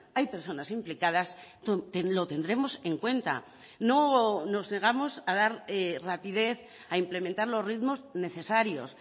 hay personas implicadas lo tendremos en cuenta no nos negamos a dar rapidez a implementar los ritmos necesarios